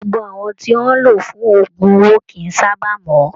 Gbogbo àwọn tí wọn lò fún ogún owó kìí sábà mọ